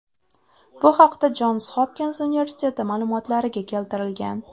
Bu haqda Jons Hopkins universiteti ma’lumotlariga keltirilgan .